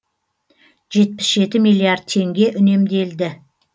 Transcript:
жетпіс жеті миллиард теңге үнемделді